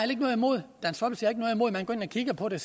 ikke noget imod at man går ind og kigger på det